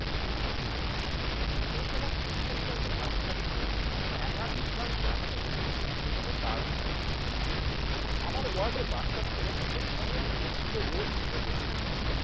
স্কুলটি ছিল পুরসভার শিক্ষা বিভাগের আধিকারিকদের একাধিকবার জানিও কোন কাজ হয়নি। আমার ওয়ার্ডে বাচ্চা ছেলে মেয়েদের অনেক দূরে স্কুলে রোজ হেঁটে যেতে হচ্ছে